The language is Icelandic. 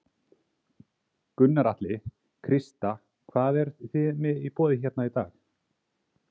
Gunnar Atli: Krista, hvað eru þið með í boði hérna í dag?